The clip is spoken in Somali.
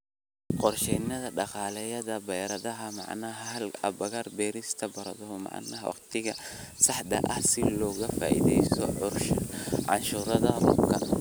Qorshaynta Dhaqdhaqaaqyada Baradhada Macaan Hel agab beerista baradho macaan wakhtiga saxda ah si looga faa'iidaysto curashada roobabka.